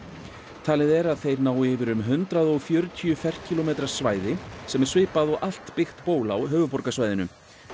talið er að þeir nái yfir um hundrað og fjörutíu ferkílómetra svæði sem er svipað og allt byggt ból á höfuðborgarsvæðinu